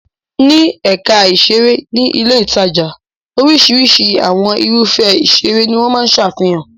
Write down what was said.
Ní ẹ̀ka ìṣeré ní ilé-ìtajà. Oríṣiríṣi àwọn irúfẹ́ ìṣeré ni wọ́n máa ń ṣàfihàn.